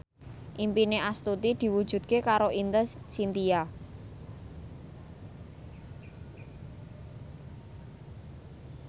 impine Astuti diwujudke karo Ine Shintya